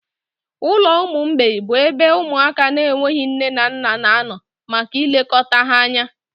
Ụlọ ụmụ mgbei bụ ebe ụmụaka na-enweghị nne na nna na-anọ maka ilekọta ha anya.